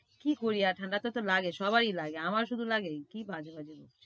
কি করি আর ঠাণ্ডাটা তো লাগে, সবারই লাগে। আমার শুধু লাগে নাকি? কি বাজে বাজে বকছিস।